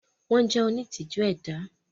Wọ́n jẹ́ onítìjú ẹ̀dá.